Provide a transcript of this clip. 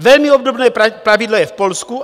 Velmi obdobné pravidlo je v Polsku.